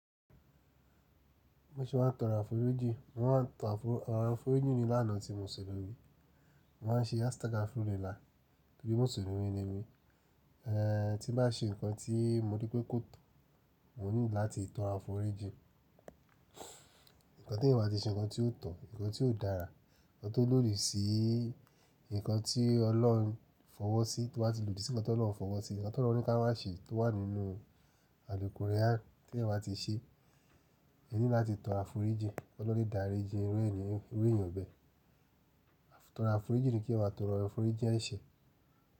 Mo ṣe wà ń tan àforíjì, mo wà ń tan àforí, àwọn àforíjìn ni lánàá tí mo sọ lórí. Mo má n ṣe astaga furila torí muslumi ni mi. Eh tí bá ṣe nǹkan tí mo rí pé kò tọ̀, mo nílò láti tan àforíjìn. Ìkànnì tí ìwà ti ṣe, ǹkan tí ó tọ̀, ǹkan tí ó dára, ǹkan tó lódí sí i, ǹkan tí ọlọ́run fọwọ́sí tí wà á ti lodí sí ǹkan tí ọlọ́run fọwọ́sí, ǹkan tí ọlọ́run ká má ṣe tó wà nínú aliqurian tí ẹ̀yan ba ti ṣe, ẹ ní láti tan àforíjìn. Ọlọ́run lè dáríji irú ẹni eeyan bẹ́ẹ̀. Itoro àforíjìn ni kí ẹyan ma tóro àforíjìn ẹṣe.